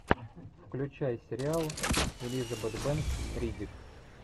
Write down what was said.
включай сериал элизабет бэнкс риддик